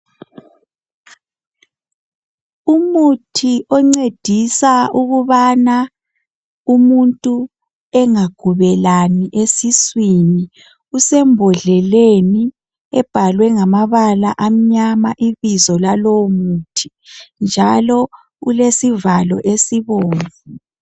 Umuthi oncedisa ukuthi umuntu engagubelani esiswini usembodleleni obhalwe ngamabala amnyama njalo ulesivalo esibomvu